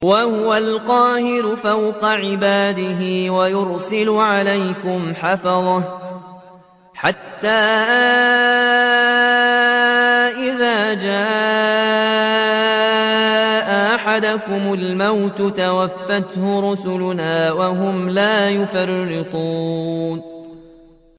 وَهُوَ الْقَاهِرُ فَوْقَ عِبَادِهِ ۖ وَيُرْسِلُ عَلَيْكُمْ حَفَظَةً حَتَّىٰ إِذَا جَاءَ أَحَدَكُمُ الْمَوْتُ تَوَفَّتْهُ رُسُلُنَا وَهُمْ لَا يُفَرِّطُونَ